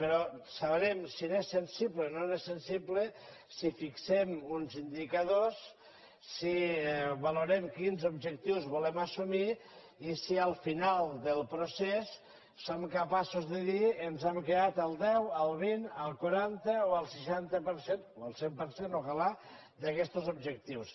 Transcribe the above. però sabrem si ens és sensible o no ens és sensible si fixem uns indicadors si valorem quins objectius volem assumir i si al final del procés som capaços de dir ens hem quedat al deu al vint al quaranta o al seixanta per cent o al cent per cent tant de bo d’aquestos objectius